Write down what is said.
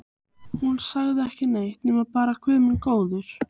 Hún sagði ekki neitt nema bara Guð minn góður.